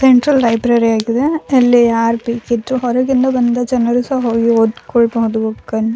Central library ಇದೆ. ಅಲ್ಲಿ ಯಾರ್ ಬೇಕಿದ್ರೂ ಹೊರಗಿಂದ ಬಂದ ಜನರು ಸ ಹೋಗಿ ಓದ್ಕೊಳ್ ಬಹುದು.